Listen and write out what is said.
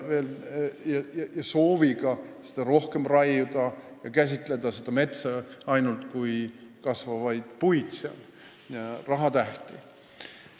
Seda soovitakse rohkem raiuda ja käsitada metsa ainult kui kasvavaid puid ja rahatähti.